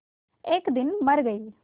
एक दिन मर गई